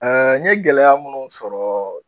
Ɛɛ n ye gɛlɛya munnu sɔrɔ